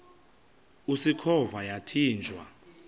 usikhova yathinjw a